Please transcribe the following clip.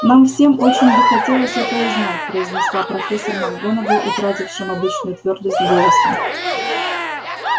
нам всем очень бы хотелось это узнать произнесла профессор макгонагалл утратившим обычную твёрдость голосом